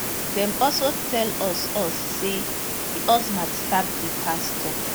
dem also tell us us say di husband stab di pastor